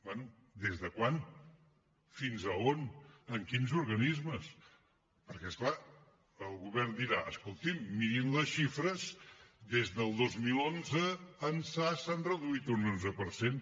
bé des de quan fins a on en quins organismes perquè és clar el govern dirà escoltin mirin les xifres des del dos mil onze ençà s’han reduït un onze per cent